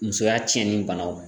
Musoya tiɲɛnen banaw